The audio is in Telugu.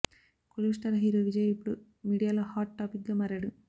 కోలీవుడ్ స్టార్ హీరో విజయ్ ఇప్పుడు మీడియాలో హాట్ టాపిక్గా మారాడు